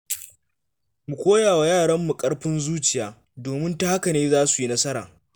Mu koya wa yaranmu ƙarfin zuciya, domin ta haka ne za su yi nasara.